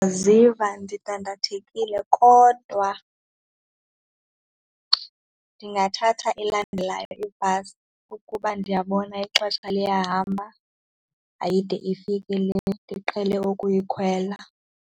Ndiziva ndidandathekile kodwa ndingathatha elandelayo ibhasi ukuba ndiyabona ixesha liyahamba ayide ifike le ndiqhele ukuyikhwela.